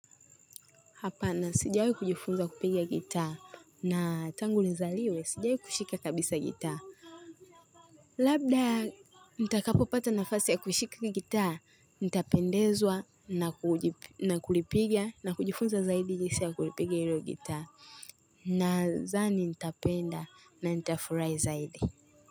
Hapa na sijawahi kujifunza kupigi gitaa na tangu nizaliwe sijawahi kushika kabisa gitaa. Labda mtakapopata nafasi ya kushika gitaa nitapendezwa na kuji na kulipiga na kujifunza zaidi jinsi ya kulipiga hilo gitaa. Nazani nitapenda na nitafurahi zaidi.